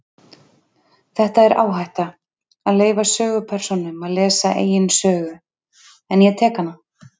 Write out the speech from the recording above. Þetta er áhætta, að leyfa sögupersónum að lesa eigin sögu, en ég tek hana.